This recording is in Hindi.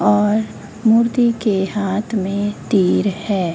और मूर्ति के हाथ में तीर है।